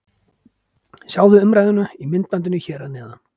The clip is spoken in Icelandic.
Sjáðu umræðuna í myndbandinu hér að neðan: